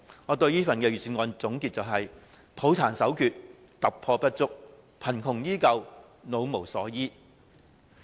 我對這份預算案的總結是：抱殘守缺、突破不足、貧窮依舊、老無所依。